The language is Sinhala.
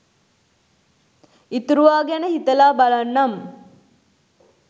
ඉතුරුවා ගැන හිතලා බලන්නම්